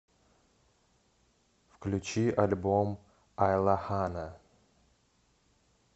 включи альбом айлахана